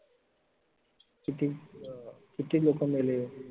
किती अह किती लोक मेले?